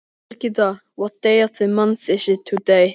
Birgitta, hvaða mánaðardagur er í dag?